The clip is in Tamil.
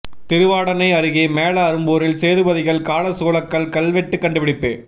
திருவாடானை அருகே மேல அரும்பூரில் சேதுபதிகள் கால சூலக்கல் கல்வெட்டு கண்டுபிடிப்பு